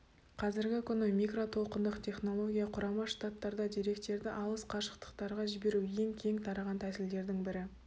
қазіргі күні микротолқындық технология құрама штаттарда деректерді алыс қашықтықтарға жіберу ең кең тараған тәсілдерінің бірі